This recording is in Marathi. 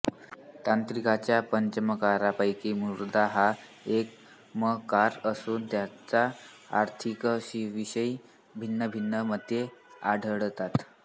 तांत्रिकांच्या पंचमकारांपैकी मुद्रा हा एक म कार असून त्याच्या अर्थाविषयी भिन्नभिन्न मते आढळतात